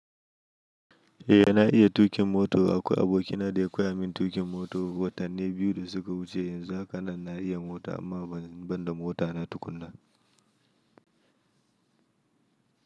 Eh na iya tuƙin moto. Akwai abokina da ya koya min tuƙin mota watanni biyu da suka wuce. Yanzu haka nan na iya mota amma ban da mota na tukunna.